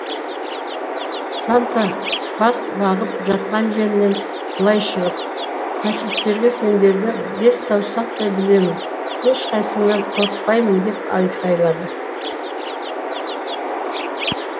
санта бас бағып жатқан жерінен былай шығып фашистерге сендерді бес саусақтай білемін ешқайсыңнан қорықпаймын деп айқайлады